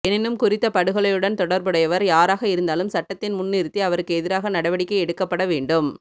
எனினும் குறித்த படுகொலையுடன் தொடர்புடையவர் யாராக இருந்தாலும் சட்டத்தின் முன் நிறுத்தி அவருக்கு எதிராக நடவடிக்கை எடுக்கப்பட வேண்டும்